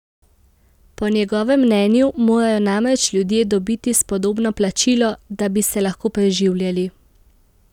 Po njegovem mnenju morajo namreč ljudje dobiti spodobno plačilo, da bi se lahko preživljali.